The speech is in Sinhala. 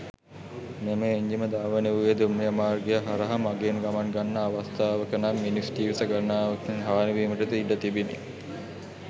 මෙම එන්ජිම ධාවනය වූයේ දුම්රිය මාර්ගය හරහා මගීන් ගමන් ගන්නා අවස්ථාවක නම් මිනිස් ජීවිත ගණනාවක් හානිවීමට ද ඉඩ තිබිණි.